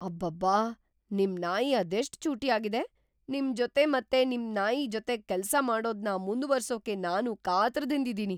ಅಬ್ಬಬ್ಬಾ! ನಿಮ್‌ ನಾಯಿ ಅದೆಷ್ಟ್‌ ಚೂಟಿಯಾಗಿದೆ! ನಿಮ್ಜೊತೆ ಮತ್ತೆ ನಿಮ್‌ ನಾಯಿ ಜೊತೆಗ್ ಕೆಲ್ಸ ಮಾಡೋದ್ನ ಮುಂದುವರ್ಸೋಕೆ ನಾನೂ ಕಾತರದಿಂದಿದೀನಿ.